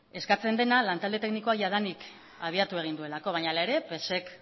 eskatzen dena lantalde teknikoak jadanik abiatu egin duelako baina hala ere psek